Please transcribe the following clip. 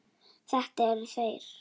Þetta eru þeir.